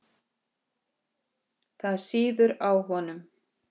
Þerrar tár þegar engin eru.